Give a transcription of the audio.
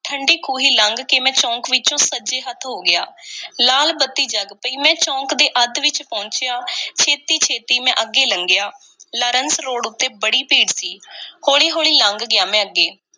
ਠੰਢੀ ਖੂਹੀ ਲੰਘ ਕੇ ਮੈਂ ਚੌਕ ਵਿੱਚੋਂ ਸੱਜੇ ਹੱਥ ਹੋ ਗਿਆ। ਲਾਲ ਬੱਤੀ ਜਗ ਪਈ, ਮੈਂ ਚੌਕ ਦੇ ਅੱਧ ਵਿੱਚ ਪਹੁੰਚਿਆ। ਛੇਤੀ-ਛੇਤੀ ਮੈਂ ਅੱਗੇ ਲੰਘਿਆ। ਲਾਰੰਸ ਰੋਡ ਉੱਤੇ ਬੜੀ ਭੀੜ ਸੀ। ਹੌਲੀ-ਹੌਲੀ ਲੰਘ ਗਿਆ ਮੈਂ ਅੱਗੇ